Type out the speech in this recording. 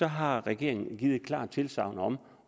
har regeringen givet et klart tilsagn om